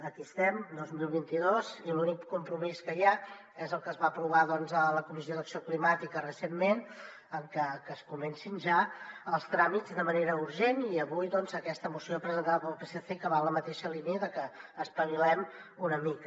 aquí estem dos mil vint dos i l’únic compromís que hi ha és el que es va aprovar a la comissió d’acció climàtica recentment que es comencin ja els tràmits de manera urgent i avui doncs aquesta moció presentada pel psc que va en la mateixa línia de que espavilem una mica